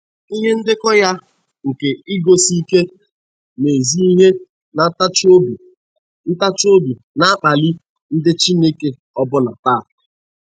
Ihe ndekọ ya nke iguzosi ike n'ezi ihe na ntachi obi ntachi obi na-akpali ndị Chineke ọbụna taa.